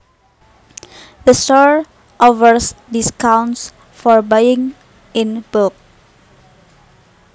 The store offers discounts for buying in bulk